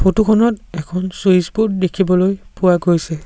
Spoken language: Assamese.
ফটো খনত এখন চুইচ ব'ৰ্ড দেখিবলৈ পোৱা গৈছে।